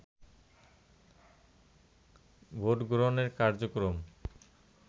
vote গ্রহণের কার্যক্রম